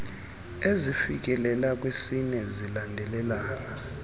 ezifikelela kwisine zilandelelana